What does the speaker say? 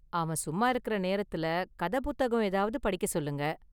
அவன் சும்மா இருக்கிற நேரத்துல கதை புத்தகம் ஏதாவது படிக்க சொல்லுங்க.